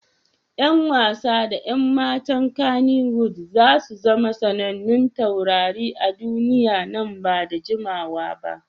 Yan wasa da 'yan matan Kannywood za su zama sanannun taurari a duniya nan ba da jimawa ba.